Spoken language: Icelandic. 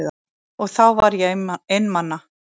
Og þá var ég einmana.